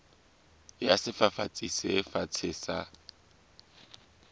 ya sefafatsi se fatshe sa